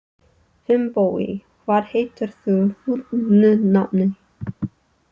Finnbogi, hvað heitir þú fullu nafni?